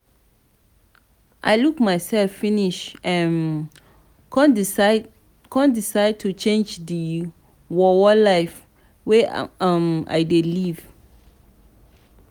i look mysef finish um come decide to change dis worwor life wey i um dey live.